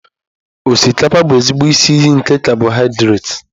Osikapa bụ ezigbo isi iyi nke cabọhidrat.